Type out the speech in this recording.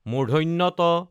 ট